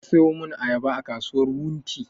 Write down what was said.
Je ka saya mun ayaba a kasuwar wunti!